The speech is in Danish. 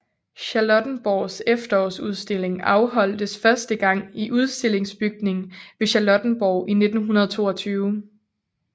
Charlottenborgs Efterårsudstilling afholdtes første gang i Udstillingsbygningen ved Charlottenborg i 1922